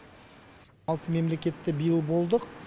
алты мемлекетте биыл болдық